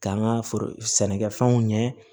K'an ka foro sɛnɛkɛfɛnw ɲɛ